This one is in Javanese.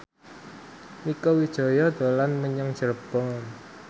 Mieke Wijaya dolan menyang Cirebon